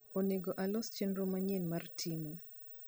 onego alos chenro manyien mar timo